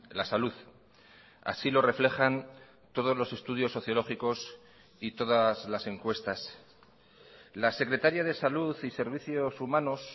la salud así lo reflejan todos los estudios sociológicos y todas las encuestas la secretaria de salud y servicios humanos